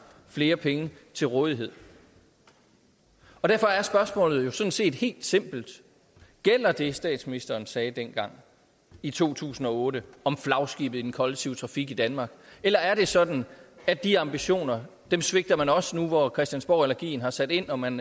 flere penge til rådighed derfor er spørgsmålet jo sådan set helt simpelt gælder det statsministeren sagde dengang i to tusind og otte om flagskibet i den kollektive trafik i danmark eller er det sådan at de ambitioner svigter man også nu hvor christiansborgallergien har sat ind og man